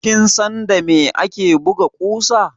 Kin san da me ake buga ƙusa?